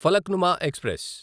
Falaknuma express